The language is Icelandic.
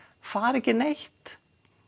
fara ekki neitt